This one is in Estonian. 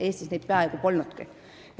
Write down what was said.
Eestis neid toetusi peaaegu polnudki.